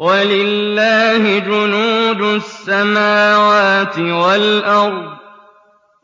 وَلِلَّهِ جُنُودُ السَّمَاوَاتِ وَالْأَرْضِ ۚ